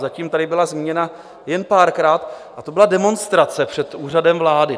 Zatím tady byla zmíněna jen párkrát, a to byla demonstrace před Úřadem vlády.